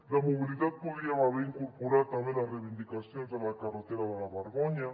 de mobilitat podríem haver incorporat també les reivindicacions de la carretera de la vergonya